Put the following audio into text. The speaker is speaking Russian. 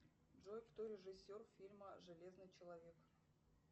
джой кто режиссер фильма железный человек